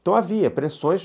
Então havia pressões.